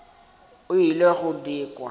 o ile go di kwa